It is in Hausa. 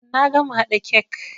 Na gama haɗa kek.